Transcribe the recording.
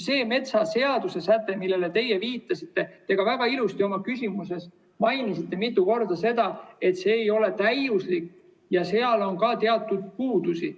See metsaseaduse säte, millele teie viitasite, nagu te ka väga ilusti oma küsimuses mitu korda mainisite, ei ole täiuslik ja seal on ka teatud puudusi.